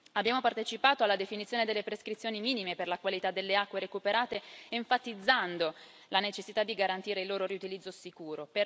Abbiamo partecipato alla definizione delle prescrizioni minime per la qualità delle acque recuperate enfatizzando la necessità di garantire il loro riutilizzo sicuro.